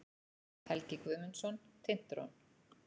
Helgi Guðmundsson, Tintron.